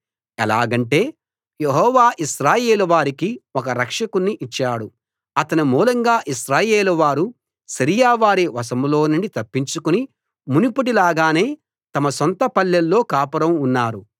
ఎలాగంటే యెహోవా ఇశ్రాయేలు వారికి ఒక రక్షకుణ్ణి ఇచ్చాడు అతని మూలంగా ఇశ్రాయేలు వారు సిరియా వారి వశంలోనుండి తప్పించుకుని మునుపటి లాగానే తమ సొంత పల్లెల్లో కాపురం ఉన్నారు